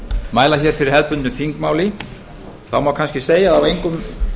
mæla hér fyrir hefðbundnu þingmáli má kannski segja að á engum